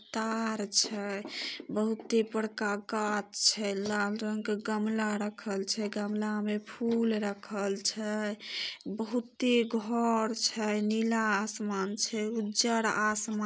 तार छै बहुते बड़का कांच छे। लाल रंग के गमला रखल छे गमला में फुल रखल छै। बहुते घर छै नीला आसमान छे उज्जर आसमान --